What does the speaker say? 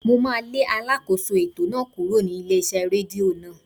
Mo máà lé alákóso ètò náà kúrò ní ilé iṣẹ́ rédíò náà.